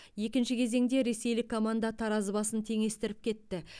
екінші кезеңде ресейлік команда таразы басын теңестіріп кетті